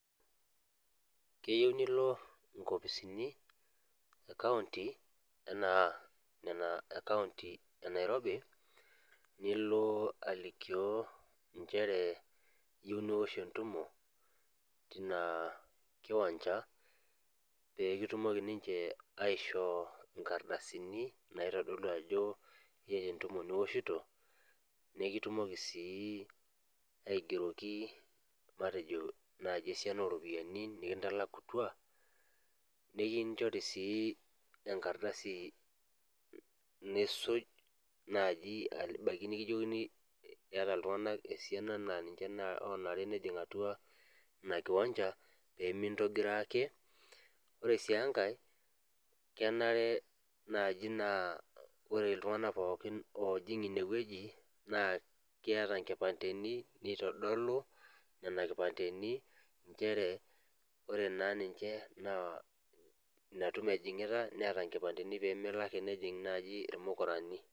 Keyieu nilo inkopisini e kaunti anaa nena e kaunti e nairobi nilo alikio inchere iyieu niwosh entumo tina kiwanja pekitumoki ninche aishoo inkardasini naitodolu ajo eata entumo niwoshito nekitumoki sii aigeroki matejo naaji esiana oropiani nikintalakutua nekinchori sii enkardasi nisuj naaji abaiki nikijokini eeta iltung'anak esiana naa ninche naa onare nejing atua ina kiwanja pemintogiroo ake ore sii enkae kenare naaji naa ore iltung'anak pookin oojing inewueji naa keata inkipandeni nitodolu nena kipandeni inchere ore naa ninche naa ina tumo ejing'ita neeta inkipandeni pemelo ake nejing naaji irmukurani.